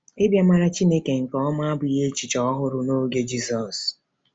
Ịbịa mara Chineke nke ọma abụghị echiche ọhụrụ n’oge Jizọs.